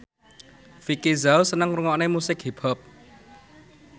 Vicki Zao seneng ngrungokne musik hip hop